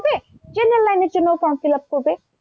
offline এর জন্য form fill up করবে।